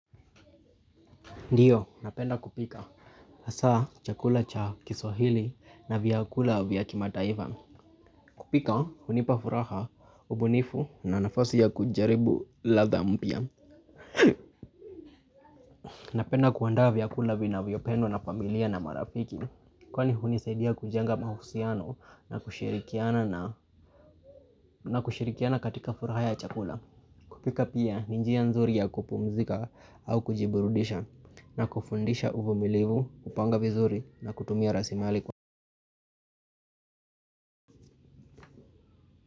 Ndiyo, napenda kupika. Hasa, chakula cha Kiswahili na vyakula vya kimataifa. Kupika, hunipa furaha, ubunifu na nafasi ya kujaribu ladha mpya. Napenda kuandaa vyakula vinavyopendwa na familia na marafiki. Kwani hunisaidia kujenga mahusiano na kushirikiana na na kushirikiana katika furaha ya chakula. Kupika pia, ni njia nzuri ya kupumzika au kujiburudisha. Na kufundisha uvumilivu, kupanga vizuri na kutumia rasimali kwa.